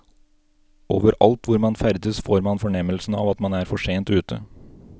Overalt hvor man ferdes får man fornemmelsen av at man er for sent ute.